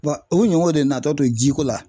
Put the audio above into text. o ɲɔgɔn de natɔ don ji ko la.